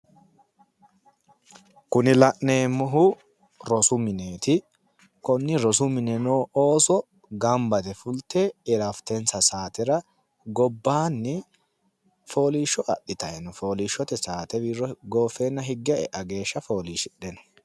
Kuni la'neemmohu rosu mineeti. Konni rosu mine noo ooso gamba yite fulte irafitensa saatera gobbaanni fooliishsho adhitayi no. Fooliishsbote saate wirro gooffeenna higge e'a geeshsha fooliishshidheno.